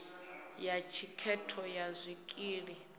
ya thikhedzo ya zwikili ssp